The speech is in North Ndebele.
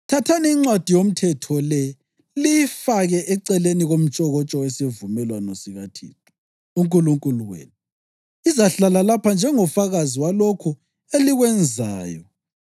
“Thathani iNcwadi yoMthetho le liyifake eceleni komtshokotsho wesivumelwano sikaThixo uNkulunkulu wenu, izahlala lapha njengofakazi walokho elikwenzayo.